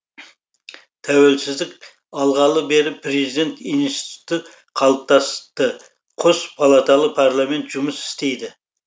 тәуелсіздік алғалы бері президент институты қалыптасты қос палаталы парламент жұмыс істейді